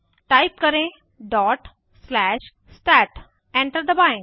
type करें stat dot slash stat enter दबाएं